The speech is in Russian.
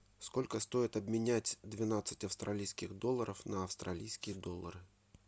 сколько стоит обменять двенадцать австралийских долларов на австралийские доллары